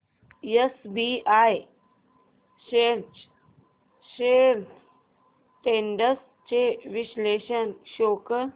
SBI shares trends चे विश्लेषण show कर